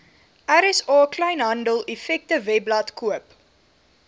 rsa kleinhandeleffektewebblad koop